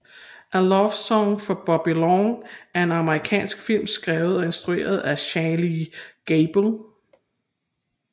A Love Song for Bobby Long er en amerikansk film skrevet og instrueret af Shainee Gabel